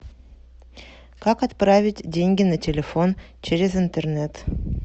как отправить деньги на телефон через интернет